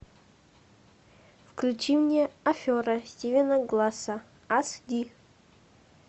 включи мне афера стивена гласса аш ди